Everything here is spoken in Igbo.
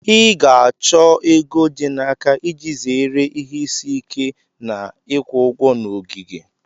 Ị ga-achọ ego dị n'aka iji zere ihe isi ike Na ịkwụ ụgwọ na ogige.